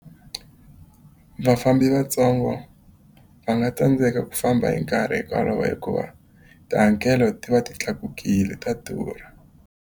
Vafambi vatsongo va nga tsandzeka ku famba hi nkarhi hikuva tihakelo ti va ti tlakukile, ta durha.